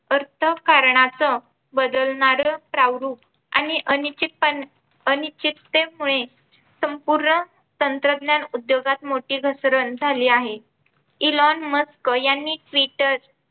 अर्थकारणच बदलणारा प्रारूप आणि अनिश्चित संपूर्ण तंत्रज्ञान उद्योगात मोठी घसरण झाली आहे. Elon Musk यांनी Twitter